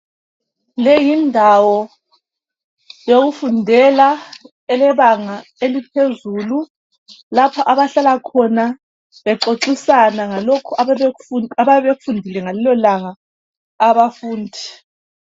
Leyindawo. yokufundela eyebanga eliphezulu bexoxisana ngalokhu abayabe bekufundile ngalelo langa abafundi